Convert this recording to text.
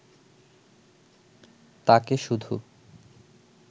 তাঁকে শুধু